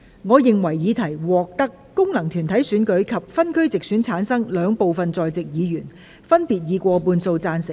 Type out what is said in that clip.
我認為議題獲得經由功能團體選舉產生及分區直接選舉產生的兩部分在席議員，分別以過半數贊成。